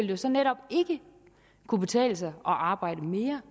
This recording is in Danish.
jo så netop ikke kunne betale sig at arbejde mere